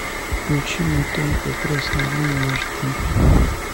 включи мне тонкая красная линия аш ди